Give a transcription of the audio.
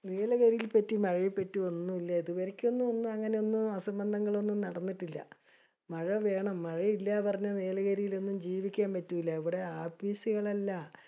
നീലഗിരിയിൽ പറ്റി മഴേ പറ്റി ഒന്നൂല്യ. ഇതുവരെക്കൊന്നും അങ്ങിനെയൊന്നും അസമ്പന്ധങ്ങളൊന്നും നടന്നിട്ടില്യ. മഴ വേണം. മഴ ഇല്യാന്ന് പറഞ്ഞ നീലഗിരിലൊന്നും ജീവിക്കാൻ പറ്റൂല. ഇവിടെ ആപ്പീസുകളല്ല